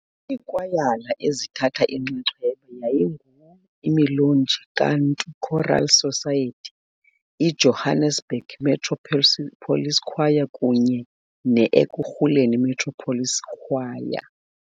Iikwayala ezithatha inxaxheba yayingu-Imilonji KaNtu Choral Society, i-Johannesburg Metro Police Choir kunye neEkhurhuleni Metro Police Choir.